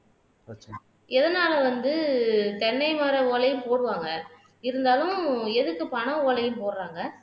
எதனால வந்து தென்னை மரம் ஓலைய போடுவாங்க இருந்தாலும் எதுக்கு பனைஓலையும் போடுறாங்க